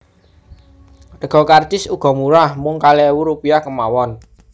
Rega karcis uga murah mung kalih ewu rupiah kémawon